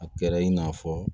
A kɛra in n'a fɔ